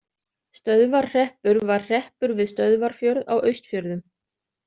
Stöðvarhreppur var hreppur við Stöðvarfjörð á Austfjörðum.